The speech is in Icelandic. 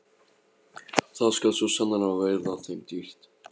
Það skal svo sannarlega verða þeim dýrt!